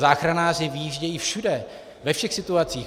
Záchranáři vyjíždějí všude, ve všech situacích.